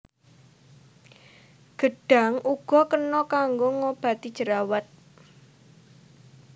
Gedhang uga kena kanggo ngobati jerawat